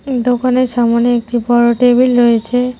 দোকানের সামনে একটি বড় টেবিল রয়েছে।